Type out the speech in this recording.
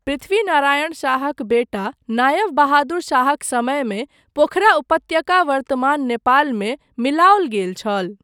पृथ्वी नारायण शाहक बेटा नायव बहादुर शाहक समयमे पोखरा उपत्यका वर्तमान नेपालमे मिलाओल गेल छल।